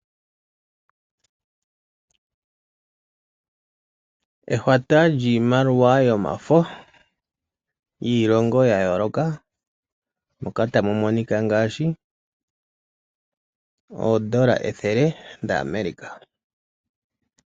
Ehwata lyiimaliwa yomafo, yiilongo ya yooloka, ngaashi oondola ethele dha Amerika.